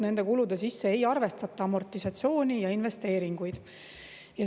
Nende kulude sisse ei arvestata amortisatsiooni ja investeeringuid.